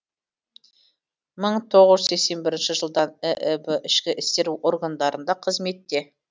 мың тоғыз жүз сексен бірінші жылдан ііб ішкі істер органдарында қызметте